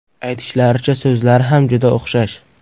Aytishlaricha, so‘zlari ham juda o‘xshash.